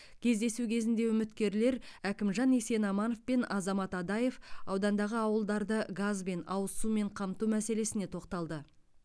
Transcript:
кездесу кезінде үміткерлер әкімжан есенаманов пен азамат адаев аудандағы ауылдарды газбен ауыз сумен қамту мәселесіне тоқталды